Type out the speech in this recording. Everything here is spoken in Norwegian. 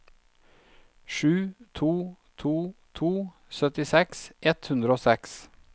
sju to to to syttiseks ett hundre og seks